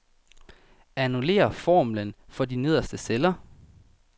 Annullér formlen for de nederste celler.